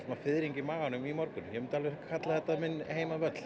fiðring í maganum í morgun ég myndi alveg kalla þetta minn heimavöll